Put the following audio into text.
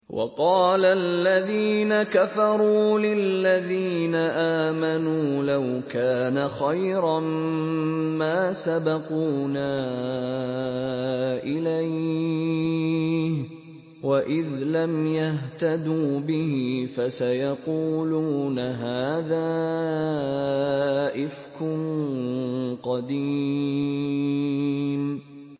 وَقَالَ الَّذِينَ كَفَرُوا لِلَّذِينَ آمَنُوا لَوْ كَانَ خَيْرًا مَّا سَبَقُونَا إِلَيْهِ ۚ وَإِذْ لَمْ يَهْتَدُوا بِهِ فَسَيَقُولُونَ هَٰذَا إِفْكٌ قَدِيمٌ